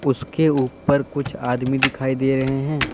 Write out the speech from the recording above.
उसके ऊपर कुछ आदमी दिखाई दे रहे हैं।